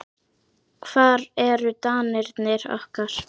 Hvar eru danirnir okkar?